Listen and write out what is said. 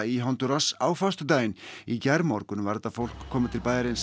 í Hondúras á föstudaginn í gærmorgun var þetta fólk komið til bæjarins